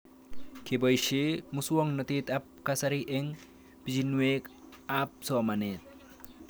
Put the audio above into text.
Kepoishe muswognatet ab kasari eng' pichinwek ab somanet